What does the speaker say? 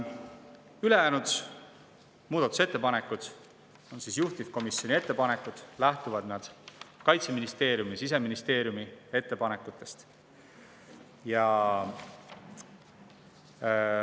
Ülejäänud muudatusettepanekud on juhtivkomisjoni ettepanekud, mis lähtuvad Kaitseministeeriumi ja Siseministeeriumi ettepanekutest.